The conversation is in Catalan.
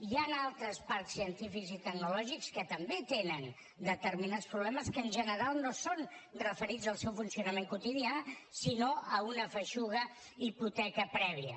hi han altres parcs científics i tecnològics que també tenen determinats problemes que en general no són referits al seu funcionament quotidià sinó a una feixuga hipoteca prèvia